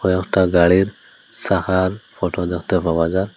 একটা গাড়ির সাকার ফটো দেখতে পাওয়া যা--